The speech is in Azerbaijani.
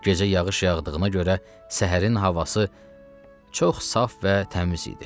Gecə yağış yağdığına görə səhərin havası çox saf və təmiz idi.